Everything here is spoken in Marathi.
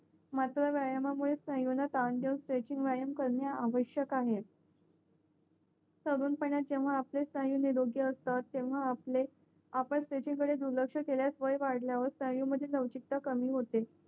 मस्त व्यायाम मुळे स्नायूंना ताण देऊन स्ट्रेचिंग व्यायाम करणे आवश्यक आहे तरुण पनात जेव्हा आपले स्नायू निरोग्य असतात तेव्हा आपले आपण त्याचा कडे दुर्लक्ष केलया वय वाढल्यावर स्नायू मध्ये लवचिकता कमी होते